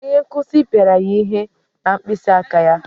Onye nkuzi pịara ya ihe na mkpịsị aka ya.